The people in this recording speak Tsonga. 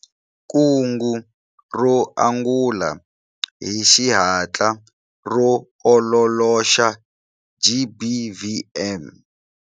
Kungu ro angula hi xihatla ro ololoxa GBVM.